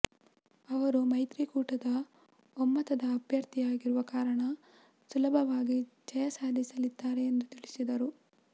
ಅವರು ಮೈತ್ರಿಕೂಟದ ಒಮ್ಮತದ ಅಭ್ಯರ್ಥಿ ಆಗಿರುವ ಕಾರಣ ಸುಲಭವಾಗಿ ಜಯ ಸಾಧಿಸಲಿದ್ದಾರೆ ಎಂದು ತಿಳಿಸಿದರು